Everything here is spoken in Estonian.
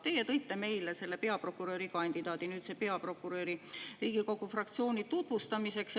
Teie tõite meile selle peaprokuröri kandidaadi, nüüdse peaprokuröri Riigikogu fraktsiooni tutvustamiseks.